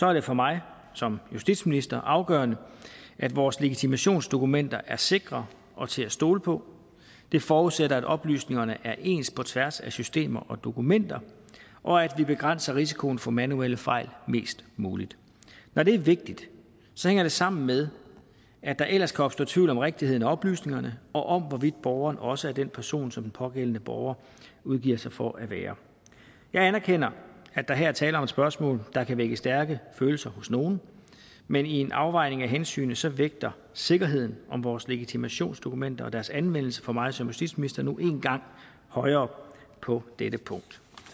er det for mig som justitsminister afgørende at vores legitimationsdokumenter er sikre og til at stole på det forudsætter at oplysningerne er ens på tværs af systemer og dokumenter og at vi begrænser risikoen for manuelle fejl mest muligt når det er vigtigt hænger det sammen med at der ellers kan opstå tvivl om rigtigheden af oplysningerne og om hvorvidt borgeren også er den person som den pågældende borger udgiver sig for at være jeg anerkender at der her er tale om et spørgsmål der kan vække stærke følelser hos nogle men i en afvejning af hensyn vægter vægter sikkerheden om vores legitimationsdokumenter og deres anvendelse for mig som justitsminister nu engang højere på dette punkt